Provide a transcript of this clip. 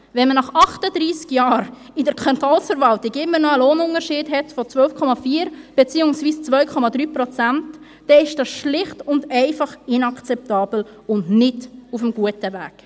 Wenn man nach 38 Jahren in der Kantonsverwaltung immer noch einen Lohnunterschied von 12,4 Prozent hat, beziehungsweise von 2,3 Prozent, dann ist dies schlicht und einfach inakzeptabel und nicht auf dem guten Weg.